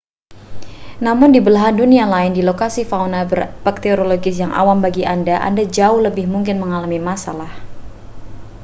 namun di belahan dunia lain di lokasi fauna bakteriologis yang awam bagi anda anda jauh lebih mungkin mengalami masalah